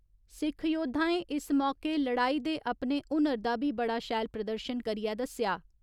सिक्ख योद्धाएं इस मौके लड़ाई दे अपने हुनर दा बी बड़ा शैल प्रदर्शन करियै दस्सेआ।